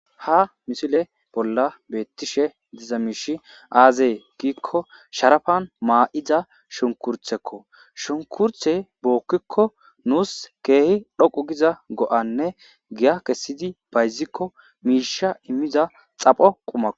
Ha misile bolla beettishe diza miishi aazee giikko sharafan maa'iza shunkurthekko shunkurthe bookkikko nuus keehi dhoqu giza go'anne giya kessidi bayzikko miisha immiza xapho qumao